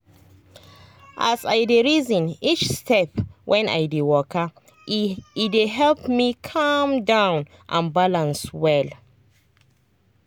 as i dey reason each step when i dey waka e dey help me calm down and balance well.